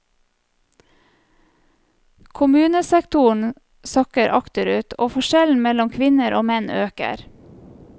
Kommunesektoren sakker akterut, og forskjellen mellom kvinner og menn øker.